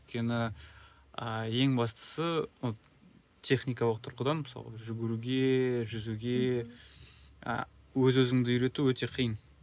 өйткені ыыы ең бастысы техникалық тұрғыдан мысалы жүгіруге жүзуге ы өз өзіңді ы үйрету өте қиын